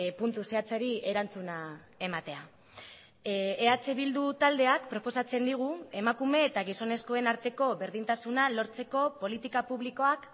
puntu zehatzari erantzuna ematea eh bildu taldeak proposatzen digu emakume eta gizonezkoen arteko berdintasuna lortzeko politika publikoak